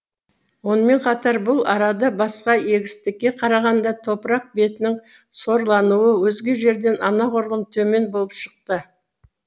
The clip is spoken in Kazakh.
онымен қатар бұл арада басқа егістікке қарағанда топырақ бетінің сорлануы өзге жерден анағұрлым төмен болып шықты